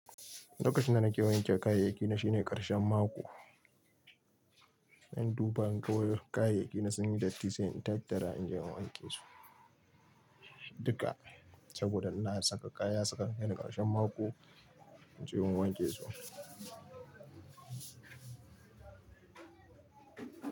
Lokacin da nake wanke kayayyakina shine karshen mako. Zan duba inga kayayyaki na sun yi datti say in tattara in je in wanke su. Dukka saboda ina saka kaya saka yan karshen mako in je in wanke su.